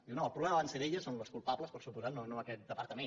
diu no el problema va ser d’elles són les culpables per descomptat no aquest departament